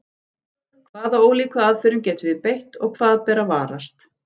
Hvaða ólíku aðferðum getum við beitt og hvað ber að varast?